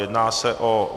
Jedná se o